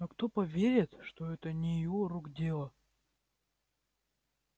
но кто поверит что это не его рук дело